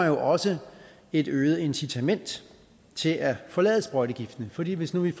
jo også et øget incitament til at forlade sprøjtegiften fordi hvis vi